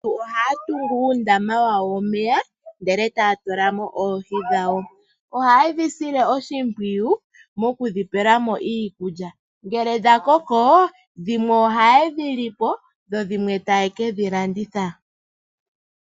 Aantu ohaya tungu uundama wawo womeya nohaya tulamo oohi dhawo , ohaye dhi sile oshimpwiyu mokudhipelamo iikulya uuna dha koko dhimwe ohaye dhi li po, dhimwe taya kalanditha.